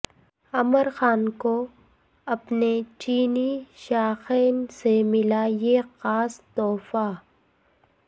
عامر خان کو اپنے چینی شائقین سے ملا یہ خاص تحفہ